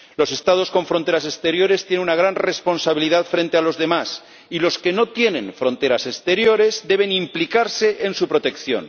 Los Estados con fronteras exteriores tienen una gran responsabilidad frente a los demás, y los que no tienen fronteras exteriores deben implicarse en su protección.